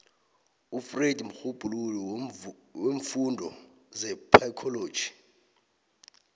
ufreud mrhubhululi weemfundo zepsychology